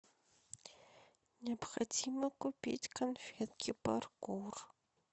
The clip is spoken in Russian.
необходимо купить конфетки паркур